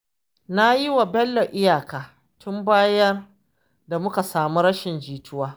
Na yi wa Bello iyaka, tun bayan da muka samu rashin jituwa